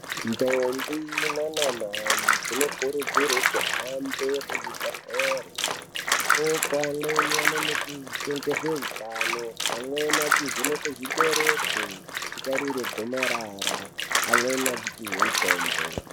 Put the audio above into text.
Ndombi naanamai dzinokurudzirwe kuhambe kuzvibhedhlere. Ikoko amweni anonodzidziswe ngezveutano, amweni achivhenekwe zvibereko kutarirwe gomarara, amweni achipihwe mutombo.